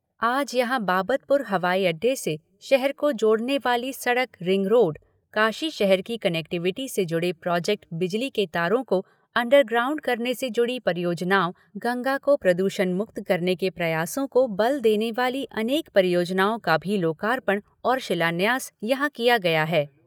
आज यहाँ बाबतपुर हवाई अड्डे से शहर को जोड़ने वाली सड़क रिंग रोड, काशी शहर की कनेक्टिविटी से जुड़े प्रोजेक्ट, बिजली के तारों को अंडर ग्राउंड करने से जुड़ी परियोजनाओं, गंगा को प्रदूषण मुक्त करने के प्रयासों को बल देने वाली अनेक परियोजनाओं का भी लोकार्पण और शिलान्यास यहाँ किया गया है।